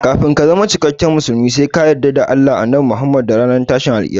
Kafin ka zama cikakken musulmi sai ka yarda da Allah, Annabi Muhammad da ranar tashin alkiyama